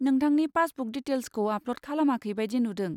नोंथांनि पासबुक दिटेल्सखौ आपलड खालामाखै बायदि नुदों।